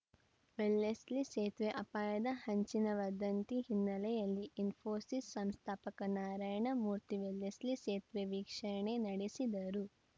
Wellesley ಸೇತುವೆ ಅಪಾಯದ ಹಂಚಿನ ವದಂತಿ ಹಿನ್ನೆಲೆಯಲ್ಲಿ ಇಸ್ಫೋಸಿಸ್‌ ಸಂಸ್ಥಾಪಕ ನಾರಾಯಣ ಮೂರ್ತಿ ವೆಲ್ಲೆಸ್ಲಿ ಸೇತುವೆ ವೀಕ್ಷಣೆ ನಡೆಸಿದರು